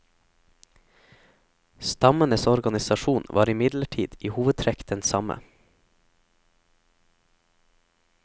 Stammenes organisasjon var imidlertid i hovedtrekk den samme.